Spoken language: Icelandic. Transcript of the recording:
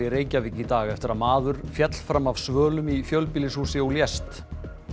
í Reykjavík í dag eftir að maður féll fram af svölum í fjölbýlishúsi og lést